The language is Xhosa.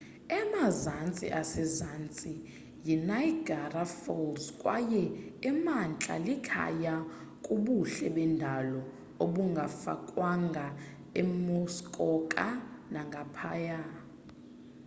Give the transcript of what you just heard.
emazantsi asezantsi yiniagara falls kwaye emantla likhaya kubuhle bendalo obungafakwanga emuskoka nangaphaya